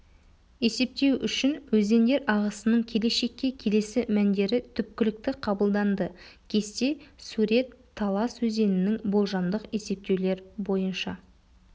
есептеу үшін өзендер ағысының келешекке келесі мәндері түпкілікті қабылданды кесте сурет талас өзенінің болжамдық есептеулер бойынша